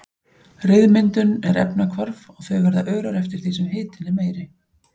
Ryðmyndun er efnahvarf og þau verða örari eftir því sem hitinn er meiri.